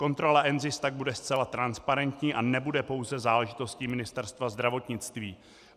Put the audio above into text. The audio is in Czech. Kontrola NZIS tak bude zcela transparentní a nebude pouze záležitostí Ministerstva zdravotnictví.